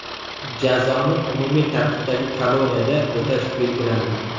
Jazoni umumiy tartibdagi koloniyada o‘tash belgilandi.